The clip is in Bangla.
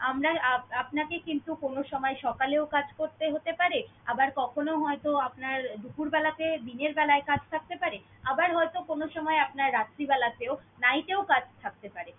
আমরা আহ আপনাকে কিন্তু কোন সময় সকালেও কাজ করতে হতে পারে, আবার কখনো হয়ত আপনার দুপুরবেলাতে দিনের বেলায় কাজ থাকতে পারে, আবার হয়ত কোন সময় আপনার রাত্রিবেলাতেও night এ ও কাজ থাকতে পারে।